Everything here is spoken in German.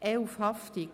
11 Haftung